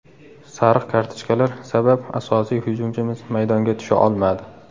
Sariq kartochkalar sabab asosiy hujumchimiz maydonga tusha olmadi.